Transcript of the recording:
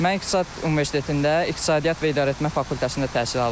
Mən İqtisad Universitetində İqtisadiyyat və İdarəetmə fakültəsində təhsil alıram.